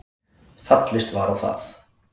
Fallist var á það